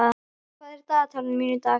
Ýlfa, hvað er í dagatalinu mínu í dag?